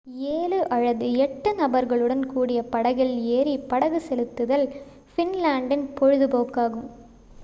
7 அல்லது 8 நபர்களுடன் கூடிய படகில் ஏறி படகு செலுத்துதல் ஃபின்லாண்டின் பொழுது போக்காகும்